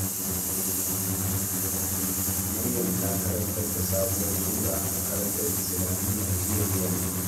Maryam ta karanta sabuwar sura a makarantar Islamiyya jiya da yamma.